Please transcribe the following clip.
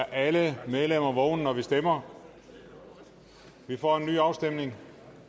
alle medlemmer være vågne når vi stemmer vi får en ny afstemning